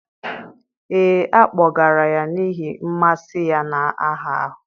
ee, a kpọgara ya n'ihi mmasị ya na aha ahụ.